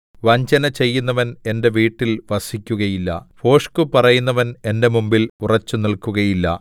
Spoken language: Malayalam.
വഞ്ചനചെയ്യുന്നവൻ എന്റെ വീട്ടിൽ വസിക്കുകയില്ല ഭോഷ്ക് പറയുന്നവൻ എന്റെ മുമ്പിൽ ഉറച്ചുനില്ക്കുകയില്ല